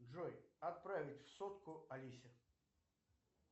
джой отправить сотку алисе